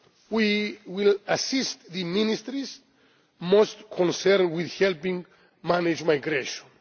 health. We will assist the ministries most concerned with helping to manage